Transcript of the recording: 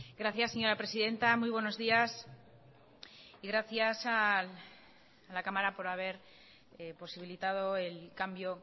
gracias señora presidenta muy buenos días y gracias a la cámara por haber posibilitado el cambio